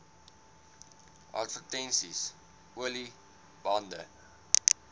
advertensies olie bande